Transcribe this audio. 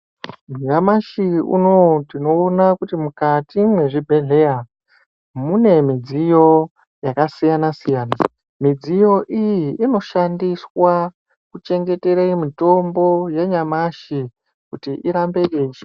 Nyamashi unowu tinoona kuti mukati mwezvibhedhleya mune midziyo yakasiyana siyana. Midziyo iyi inoshandiswa kuchengetere mitombo yanyamashi kuti irambe yeishanda.